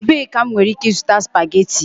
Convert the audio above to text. Ebee ka m nwere ike ịzụta spageti?